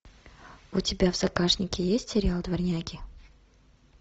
у тебя в загашнике есть сериал дворняги